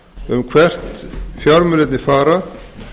um hvert fjármunirnir fara